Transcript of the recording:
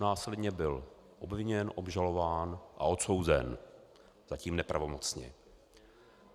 Následně byl obviněn, obžalován a odsouzen, zatím nepravomocně.